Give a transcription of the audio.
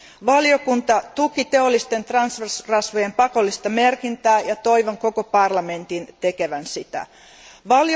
Valiokunta tuki teollisten transrasvojen pakollista merkintää ja toivon koko parlamentin tekevän samoin.